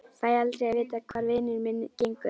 Fæ aldrei að vita hvar vinur minn gengur.